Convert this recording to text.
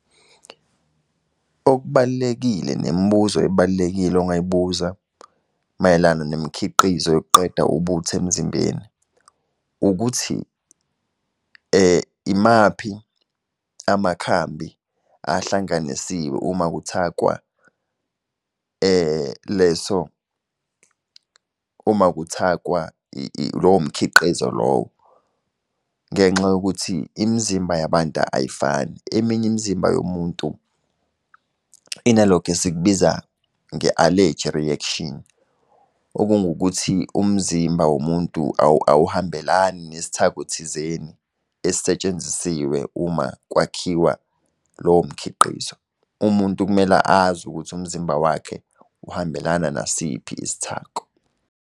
Okubalulekile nemibuzo ebalulekile ongayibuza mayelana nemikhiqizo yokuqeda ubuthi emzimbeni, ukuthi imaphi amakhambi ahlanganisiwe uma kuthathwa leso, uma kuthathwa lowo mkhiqizo lowo. Ngenxa yokuthi imizimba yabantu ayifani, eminye imzimba yomuntu inalokhu esikubiza nge-allergy reaction, okungukuthi umzimba womuntu awuhambelani nesithako thizeni esisetshenzisiwe, uma kwakhiwa lowo mkhiqizo. Umuntu kumele azi ukuthi umzimba wakhe uhambelana nasiphi isithako.